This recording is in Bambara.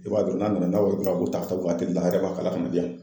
I b'a dɔn n'a nana n'aw bɔ ta a bɔ ta ka taa o ka la a yɛrɛ b'a kala ka na di yan